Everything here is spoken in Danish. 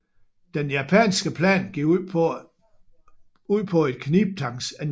Den japanske plan gik ud på et knibtangsangreb